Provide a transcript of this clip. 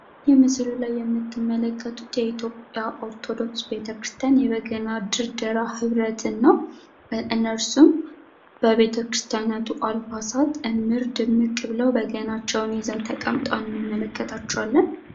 ይህ ምስሉ ላይ የምትመለከቱት የኢትዮጵያ ኦርቶዶክስ ቤተክርስቲያን የበገና ድርደራ ህብረትን ነው ፤ እነሱም በቤተክርስቲያን አልባሳት እምር ድምቅ ብለው በገናቸውን ይዘው ተቀምጠው እናያቸዋለን።